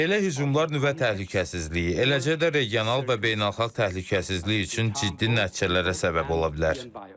Belə hücumlar nüvə təhlükəsizliyi, eləcə də regional və beynəlxalq təhlükəsizlik üçün ciddi nəticələrə səbəb ola bilər.